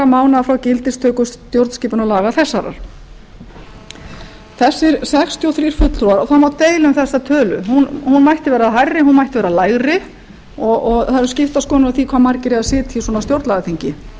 mánaða frá gildistöku stjórnskipunarlaga þessara þessir sextíu og þrír fulltrúar það á deila um þessa tölu hún mætti vera hærri hún mætti vera lægri og það eru skiptar skoðanir á því hve margir eiga að sitja á svona stjórnlagaþingi